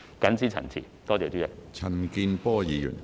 謹此陳辭，多謝主席。